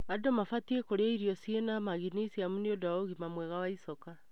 Andũ mabatie kũria irio cĩina magnesium nĩundu wa ũgima mwega wa icoka.